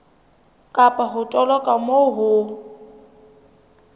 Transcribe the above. kapa ho toloka moo ho